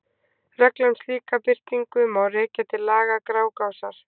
Reglur um slíka birtingu má rekja til laga Grágásar.